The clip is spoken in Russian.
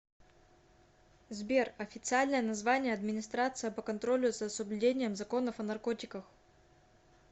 сбер официальное название администрация по контролю за соблюдением законов о наркотиках